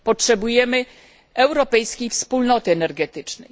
Potrzebujemy europejskiej wspólnoty energetycznej.